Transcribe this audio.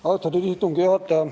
Austatud istungi juhataja!